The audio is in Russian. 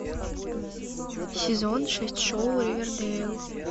сезон шесть шоу ривердэйл